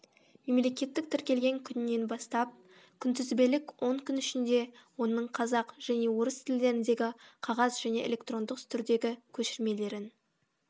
мемлекеттік тіркелген күнінен бастап күнтізбелік он күн ішінде оның қазақ және орыс тілдеріндегі қағаз және электрондық түрдегі көшірмелерін